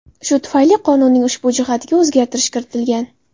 Shu tufayli qonunning ushbu jihatiga o‘zgartirish kiritilgan.